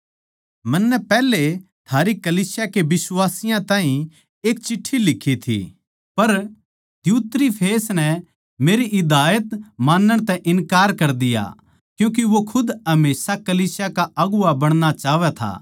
मन्नै पैहले थारी कलीसिया के बिश्वासियाँ ताहीं एक चिट्ठी लिखी थी पर दियुत्रिफेस नै मेरी हिदायत मानण तै इन्कार कर दिया क्यूँके वो खुद हमेशा कलीसिया का अगुवां बनणा चाहवै था